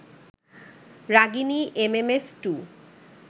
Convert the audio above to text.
Ragini MMS two